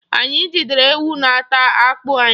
Anyị jidere ewu na-ata akpụ anyị.